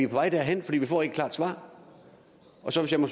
vej derhen for vi får ikke et klart svar